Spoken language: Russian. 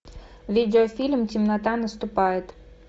видеофильм темнота наступает